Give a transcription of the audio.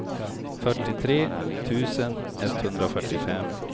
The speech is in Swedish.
fyrtiotre tusen etthundrafyrtiofem